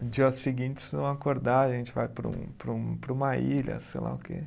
No dia seguinte, se não acordar, a gente vai para um para um, para uma ilha, sei lá o quê.